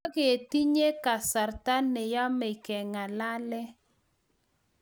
Tiketinye kasarta ne yemei kengalale